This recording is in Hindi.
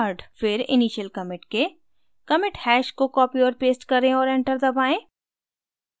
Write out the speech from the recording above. फिर initial commit के commit hash को copy और paste करें और enter दबाएँ